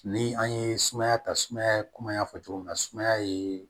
Ni an ye sumaya ta sumaya kɔmi an y'a fɔ cogo min na sumaya ye